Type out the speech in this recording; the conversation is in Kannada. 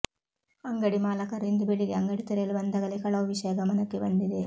ಅಂಗಡಿ ಮಾಲಕರು ಇಂದು ಬೆಳಿಗ್ಗೆ ಅಂಗಡಿ ತೆರೆಯಲು ಬಂದಾಗಲೇ ಕಳವು ವಿಷಯ ಗಮನಕ್ಕೆ ಬಂದಿದೆ